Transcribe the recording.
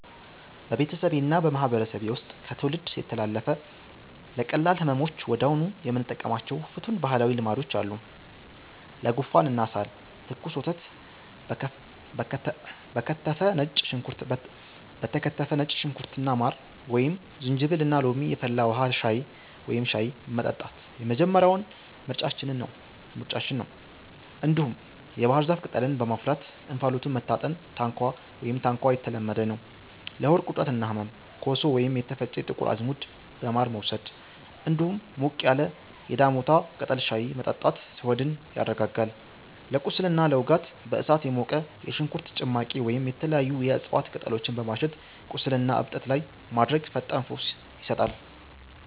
በቤተሰቤና በማህበረሰቤ ውስጥ ከትውልድ የተላለፉ፣ ለቀላል ህመሞች ወዲያውኑ የምንጠቀማቸው ፍቱን ባህላዊ ልማዶች አሉ፦ ለጉንፋንና ሳል፦ ትኩስ ወተት በከተፈ ነጭ ሽንኩርትና ማር፣ ወይም ዝንጅብልና ሎሚ የፈላ ውሃ (ሻይ) መጠጣት የመጀመሪያው ምርጫችን ነው። እንዲሁም የባህር ዛፍ ቅጠልን በማፍላት እንፋሎቱን መታጠን (ታንኳ) የተለመደ ነው። ለሆድ ቁርጠትና ህመም፦ ኮሶ ወይም የተፈጨ ጥቁር አዝሙድ በማር መውሰድ፣ እንዲሁም ሞቅ ያለ የዳሞታ ቅጠል ሻይ መጠጣት ሆድን ያረጋጋል። ለቁስልና ለውጋት፦ በእሳት የሞቀ የሽንኩርት ጭማቂ ወይም የተለያዩ የእጽዋት ቅጠሎችን በማሸት ቁስልና እብጠት ላይ ማድረግ ፈጣን ፈውስ ይሰጣል።